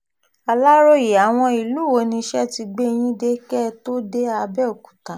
aláròye àwọn ìlú wo niṣẹ́ ti gbé yín dé kẹ́ ẹ tóó dé abẹ́ọ̀kúta